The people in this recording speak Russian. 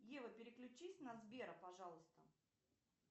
ева переключись на сбера пожалуйста